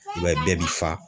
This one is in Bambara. I b'a ye bɛɛ b'i fa